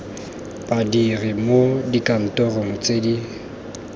badiri mo dikantorong tse di